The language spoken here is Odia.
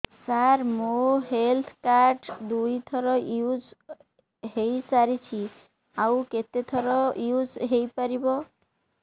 ସାର ମୋ ହେଲ୍ଥ କାର୍ଡ ଦୁଇ ଥର ୟୁଜ଼ ହୈ ସାରିଛି ଆଉ କେତେ ଥର ୟୁଜ଼ ହୈ ପାରିବ